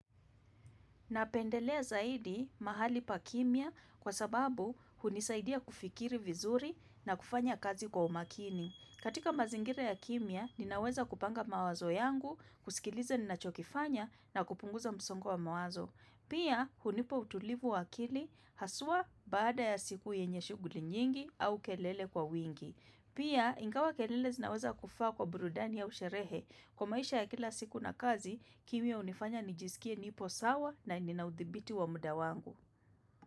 Napendelea zaidi mahali pa kimia kwa sababu hunisaidia kufikiri vizuri na kufanya kazi kwa umakini. Katika mazingira ya kimia, ninaweza kupanga mawazo yangu, kusikiliza ninachokifanya na kupunguza msongo wa mawazo. Pia hunipa utulivu wa akili haswa baada ya siku yenye shughuli nyingi au kelele kwa wingi. Pia ingawa kelele zinaweza kufaa kwa burudani au sherehe kwa maisha ya kila siku na kazi kimia hunifanya nijisikie nipo sawa na nina udhibiti wa muda wangu.